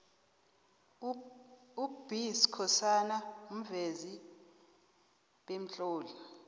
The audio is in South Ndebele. up b skhosana muvezi bemtloli